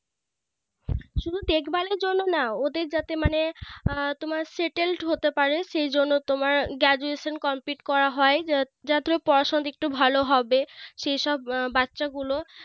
শুধু দেখভালের জন্য না ওদের যাতে মানে আহ তোমার Settled হতে পারে সেই জন্য তোমার Graduation Complete করা হয় যা~ যাতে পড়াশুনোর দিকটা ভালো হবে সেই সব বাচ্চা গুলো